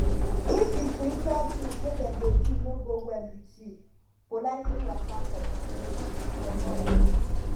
if di spiritual tins wey dem dey do no go well with youpolitely waka comot comot